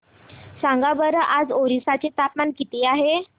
सांगा बरं आज ओरिसा चे तापमान किती आहे